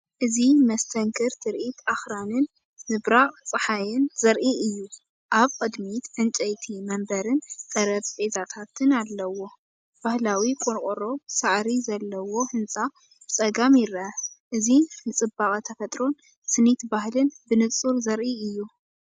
እዚ መስተንክር ትርኢት ኣኽራንን ምብራቕ ጸሓይን ዘርኢ እዩ፡ ኣብ ቅድሚት ዕንጨይቲ መንበርን ጠረጴዛታትን አለዎ። ባህላዊ ቆርቆሮ ሳዕሪ ዘለዎ ህንጻ ብጸጋም ይርአ፤ እዚ ንጽባቐ ተፈጥሮን ስኒት ባህልን ብንጹር ዘርኢ እዩ።